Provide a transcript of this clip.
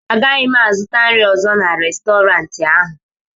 Agaghị m azụta nri ọzọ n'Restọrantị ahụ